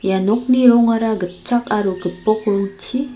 ia nokni rongara gitchak aro gipok rongchi--